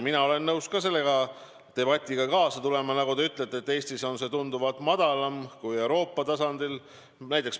Mina olen nõus ka selle debatiga kaasa tulema, sest, nagu te ütlete, Eestis on see tunduvalt madalam kui Euroopas.